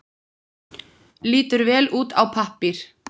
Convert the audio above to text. Lítur vel út á pappír.